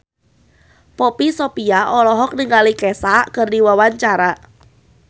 Poppy Sovia olohok ningali Kesha keur diwawancara